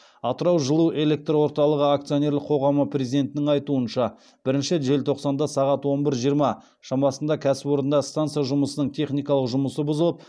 атырау жылуэлекрорталығы акционерлік қоғамының президентінің айтуынша бірінші желтоқсанда сағат он бір жиырма шамасында кәсіпорында станса жұмысының техникалық жұмысы бұзылып